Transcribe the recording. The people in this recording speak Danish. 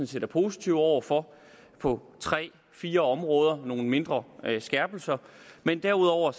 set er positive over for på tre fire områder nogle mindre skærpelser derudover